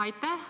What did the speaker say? Aitäh!